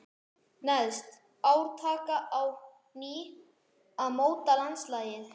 Neðst: ár taka á ný að móta landslagið.